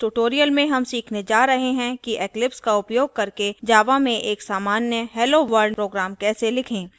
इस tutorial में हम सीखने जा रहे हैं कि eclipse का उपयोग करके java में एक सामान्य hello world hello world program कैसे लिखें